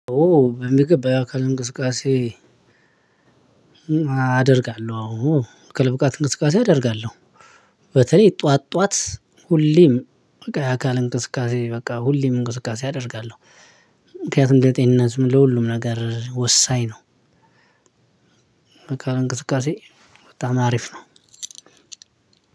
ኦ በሚገባ ያአካል እንቅስቃሴ አደርጋለሁ አወ አካል ብቃት እንቅስቃሴ አደርጋለሁ። በተለይ ጥዋት ጥዋት ሁሌም በቃ የአካል እንቅስቃሴ በቃ ሁሌም እንቅስቃሴ አደርጋለሁ። ምክንያቱም ለጤንነትም ለሁሉም ነገር ወሳኝ ነው። የአካል እንቅስቃሴ በጣም አሪፍ ነው።